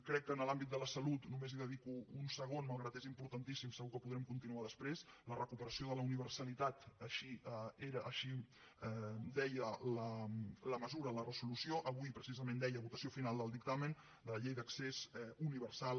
crec que en l’àmbit de la salut només hi dedico un segon malgrat que és importantíssim segur que podrem continuar després la recuperació de la universalitat així ho deia la mesura la resolució avui precisament deia votació final del dictamen de la llei d’accés universal